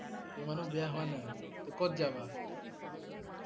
ইমানো বেয়া হোৱা নাই? তহ ক'ত যাবা?